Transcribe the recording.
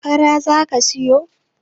fara za a siyo